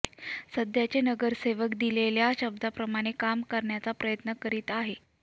सध्याचे नगरसेवक दिलेल्या शब्दाप्रमाणे काम करण्याचा प्रयत्न करीत आहेत